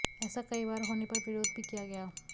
ऐसा कई बार होने पर विरोध भी किया गया